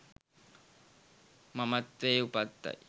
මමත්වයේ උපතයි.